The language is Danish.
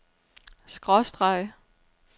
skråstreg